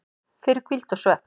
fyrir hvíld og svefn